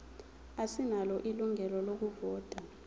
asinalo ilungelo lokuvota